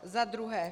Za druhé.